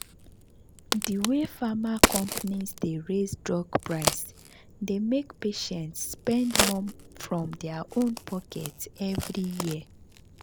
the way pharma companies dey raise drug price dey make patients spend more from their own pocket every year.